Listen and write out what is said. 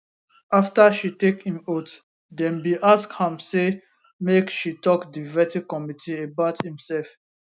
afta she take im oath dem bin ask am say make she tok di vetting committee about imserf